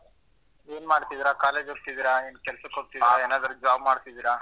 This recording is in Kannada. ಏನ್ ಮಾಡ್ತಿದಿರಾ college ಹೋಗ್ತಿದೀರಾ ಏನ್ ಕೆಲ್ಸಕ್ ಹೋಗ್ತಿದೀರಾ? ಏನಾದ್ರು job ಮಾಡ್ತಿದೀರಾ?